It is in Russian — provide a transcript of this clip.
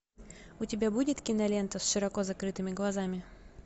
у тебя будет кинолента с широко закрытыми глазами